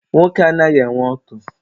Nwoke anaghị enwe ọtụ.